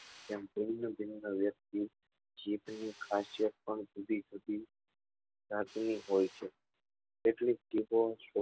એમ ભિન્ન ભિન્ન વ્યક્તિ જીભ ની ખાશીયત પણ જુદી જુદી જાત ની હોય છે એટલે જ